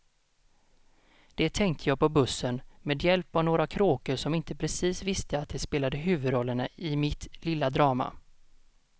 Det tänkte jag på bussen, med hjälp av några kråkor som inte precis visste att de spelade huvudrollerna i mitt lilla drama.